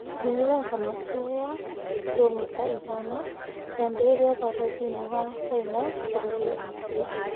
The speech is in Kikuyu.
Mĩrũrũngano ĩyo ya kiromita ithano yambĩrĩirie ũbarũthi-inĩ wa China bũrũri-inĩ ũcio